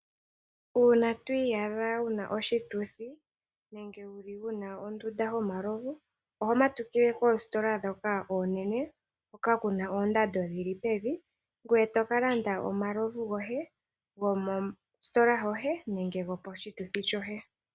Uuna to iyadha wuna oshituthi nenge wuna ondunda yomalovu, oho matukile koositola dhoka oonene hoka kuna oondando dhili pevi, ngoye tokalanda omalovu goye gomositola yoye nenge go poshituthi sho ye.